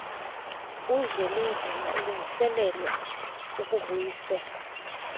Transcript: uzwelinzima elungiselelwa ukubuyiselwa